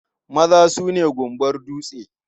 Maza su ne gumbar dutse.